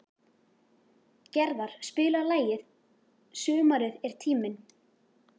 Gerðar, spilaðu lagið „Sumarið er tíminn“.